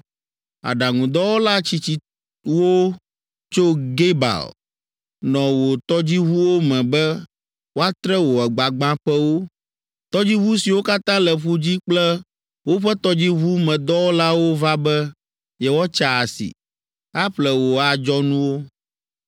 Aɖaŋudɔwɔla tsitsiwo tso Gebal nɔ wò tɔdziʋuwo me be woatre wò gbagbãƒewo. Tɔdziʋu siwo katã le ƒu dzi kple woƒe tɔdziʋumedɔwɔlawo va be yewoatsa asi, aƒle wò adzɔnuwo.